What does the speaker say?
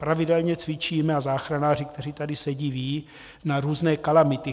Pravidelně cvičíme, a záchranáři, kteří tady sedí, vědí, na různé kalamity.